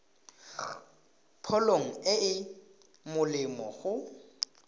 pholo e e molemo go